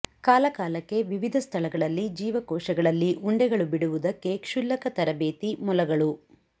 ಕಾಲಕಾಲಕ್ಕೆ ವಿವಿಧ ಸ್ಥಳಗಳಲ್ಲಿ ಜೀವಕೋಶಗಳಲ್ಲಿ ಉಂಡೆಗಳು ಬಿಡುವುದಕ್ಕೆ ಕ್ಷುಲ್ಲಕ ತರಬೇತಿ ಮೊಲಗಳು